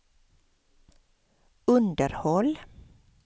underhåll